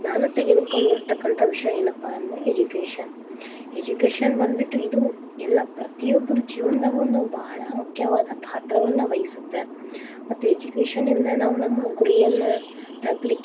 ನಾನು ತೆಗೆದುಕೊಂಡಿರತಕ್ಕಂತ ವಿಷಯ ಏನಪಾ ಅಂದ್ರೆ Education education ಬಂದ್ಬಿಟ್ಟು ಇದು ಎಲ್ಲಾ ಪ್ರತಿಯೊಬ್ಬರ ಜೀವನದಾಗ ಬಾಳ ಮುಖ್ಯವಾದ ಪಾತ್ರವನ್ನ ವಹಿಸತ್ತ ಮತ್ತ education ಇಲ್ದ ನಾವು ನಮ್ಮ ಗುರಿಯನ್ನ ತಲಪಲಿಕ್ಕೆ.